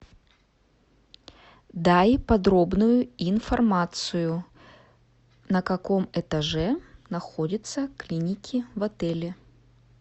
дай подробную информацию на каком этаже находятся клиники в отеле